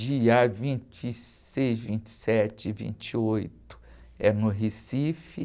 Dia vinte e seis, vinte e sete e vinte e oito é no Recife.